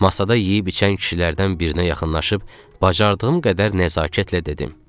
Masada yeyib-içən kişilərdən birinə yaxınlaşıb, bacardığım qədər nəzakətlə dedim: